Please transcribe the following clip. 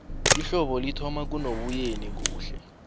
ihlobo lithoma kunoboyeni kuhle